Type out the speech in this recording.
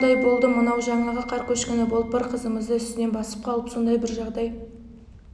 оқыс жағдай болды мынау жаңағы қар көшкіні болып бір қызымызды үстінен басып қалып сондай бір жағдай